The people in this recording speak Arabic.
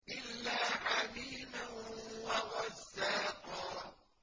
إِلَّا حَمِيمًا وَغَسَّاقًا